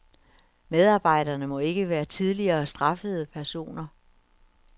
Medarbejderne må ikke være tidligere straffede personer.